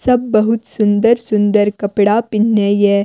सब बहुत सुन्दर-सुन्दर कपड़ा पिनहने ये।